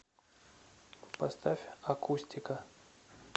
поставь акустика